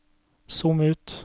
zoom ut